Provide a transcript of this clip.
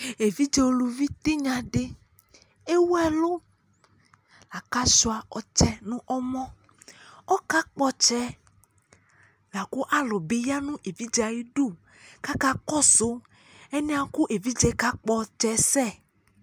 Evidze uluvi tanya de ewui ɛlul la ko asua ɔtsɛ no ɔmɔ Ɔka gbɔ ɔtsɛ la ko alu be ya no evidze ayidu ko aka kɔso ɛnia ko evidzw ka gbɔ ltsɛ sɛ